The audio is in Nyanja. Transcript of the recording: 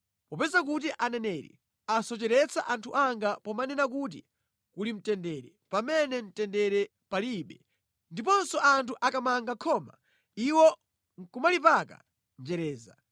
“Popeza kuti aneneri asocheretsa anthu anga pomanena kuti, ‘Kuli mtendere’ pamene mtendere palibe; ndiponso anthu akamanga khoma iwo nʼkumalipaka njereza,